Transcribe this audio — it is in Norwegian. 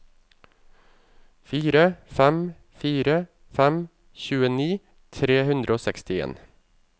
fire fem fire fem tjueni tre hundre og sekstien